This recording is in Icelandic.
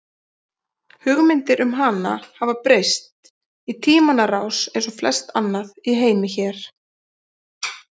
Hugmyndir um hana hafa breyst í tímans rás eins og flest annað í heimi hér.